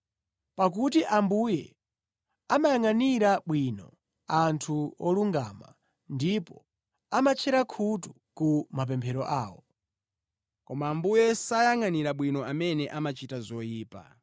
Pakuti Ambuye amayangʼanira bwino anthu olungama ndipo amatchera khutu ku mapemphero awo. Koma Ambuye sawayangʼana bwino amene amachita zoyipa.”